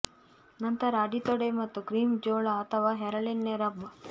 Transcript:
ನಂತರ ಅಡಿ ತೊಡೆ ಮತ್ತು ಕ್ರೀಮ್ ಜೋಳ ಅಥವಾ ಹರಳೆಣ್ಣೆ ರಬ್